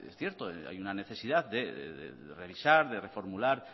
cierto hay una necesidad de revisar de reformular